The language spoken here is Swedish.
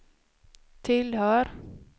tillhör